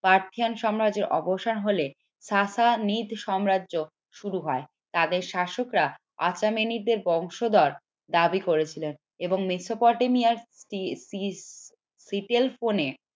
Persian সাম্রাজ্যের অবসান হলে সাম্রাজ্য শুরু হয় তাদের শাসকরা দের বংশধর দাবি করেছিল এবং মেসোপটেমিয়ার